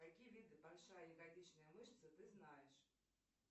какие виды большая ягодичная мышца ты знаешь